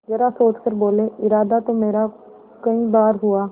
जरा सोच कर बोलेइरादा तो मेरा कई बार हुआ